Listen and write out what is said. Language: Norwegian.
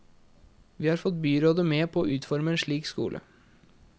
Vi har fått byrådet med på å utforme en slik skole.